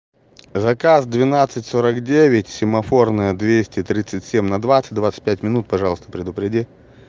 заказ двенадцать сорок девять семафорная двесте тридцать семь на двадцать двадцать пять минут пожалуйста предупреди